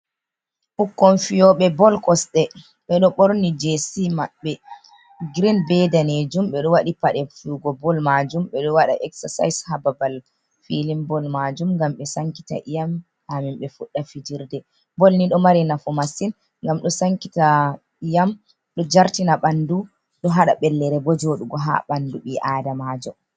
Ɓukkon fiyoɓe bol kosɗe ɓeɗo ɓorni js maɓɓe green be danejum ɓeɗo waɗi paɗe fiyugo bol majum ɓeɗo waɗa exercise ha barbal filin bol majum ngam be sankita iyam ha min ɓe fuɗda fijirde, bol ni ɗo mari nafu massin gam ɗo sankita iyam ɗo jartina ɓandu ɗo hada ɓellere bo joɗugo ha ɓandu ɓi adamajo.